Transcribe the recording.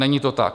Není to tak.